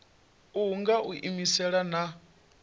uhu nga u iimisela na